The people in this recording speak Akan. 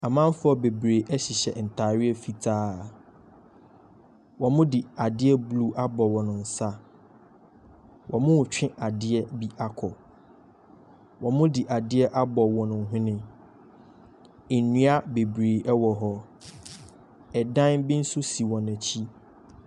Amanfoɔ bebree ɛhyehyɛ ntaareɛ fitaa. Wɔn mo de adeɛ blu ahyehyɛ wɔn nsa. Ɔmo twe adeɛ bi akɔ. Ɔmo de adeɛ abɔ ɔmo hwene. Nnua bebree ɛwɔ hɔ. Ɛdan bi nso si wɔn akyi.